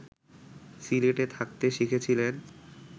সিলেটে থাকতে শিখেছিলেন